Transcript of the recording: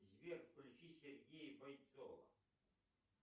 сбер включи сергея бойцова